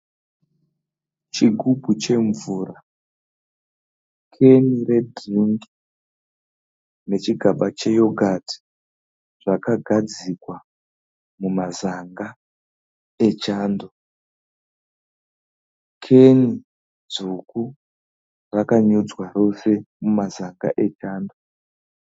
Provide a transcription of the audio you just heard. Chigubhu chemvura, keni redhiringi, nechighaba cheyoghati zvakagadzikwa mumasaga echando, keni dzvuku rakanyudzwa rose mumasaga echando.